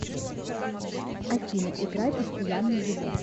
афина играй постоянно его